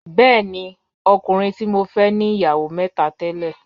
Bẹẹ̀ni, ọ̀kùnrin ti mọ fẹ̀ ní iyáwó mẹ́tà tẹ̀lẹ̀